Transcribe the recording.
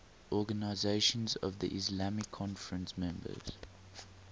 organisation of the islamic conference members